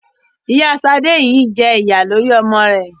Ìyá Sadé yìí jẹ̀yà lórí ọmọ rẹ